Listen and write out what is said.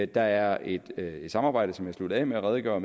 der er et samarbejde som jeg sluttede af med at redegøre